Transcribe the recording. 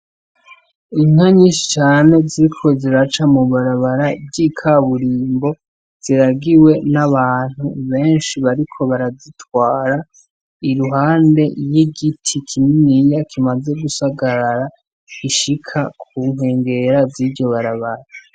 Inka nyinshi cane ziriko ziraca mu barabara ry'ikaburimbo ziragiwe n'abantu benshi bariko barazitwara, iruhande igiti kininiya kimaze gusagarara gishika ku nkengera ziryo barabara.